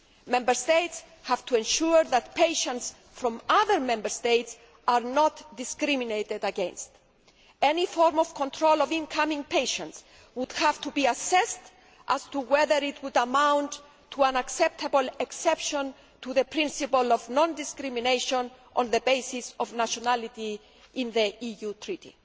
Member States have to ensure that patients from other Member States are not discriminated against. Any form of control of incoming patients would have to be assessed as to whether it would amount to an acceptable exception to the principle of non discrimination on the basis of nationality set out in the EU Treaty.